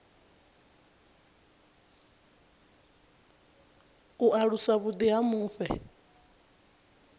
u alusa vhuḓi ha mufhe